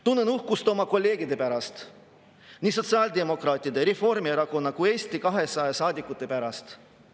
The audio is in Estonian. Tunnen uhkust oma kolleegide pärast, nii sotsiaaldemokraatide, Reformierakonna kui ka Eesti 200 saadikute pärast.